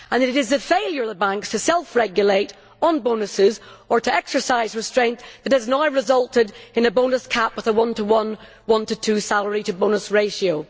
It is the failure of the banks to self regulate on bonuses or to exercise restraint that has now resulted in a bonus cap with a one to one, one to two salary to bonus ratio.